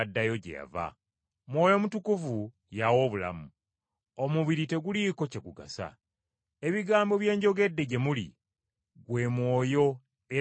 Mwoyo Mutukuvu y’awa obulamu. Omubiri teguliiko kye gugasa. Ebigambo bye njogedde gye muli gwe mwoyo era bwe bulamu.